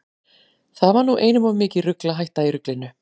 Það var nú einum of mikið rugl að hætta í ruglinu.